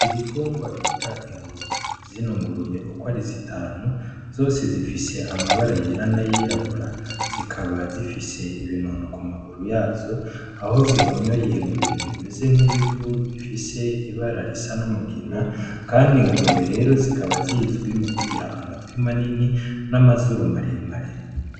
Ibitungwa bita ingurube, zino ngurube uko ari zitanu zose zifise amabara yera n'ayirabura zikaba zifise ibinono ku maguru yazo aho zihonyoye mu bintu bimeze nk'ibivu bifise ibara risa n'umugina kandi ingurube rero zikaba zizwi mu kugira amatwi manini n'amazuru maremare.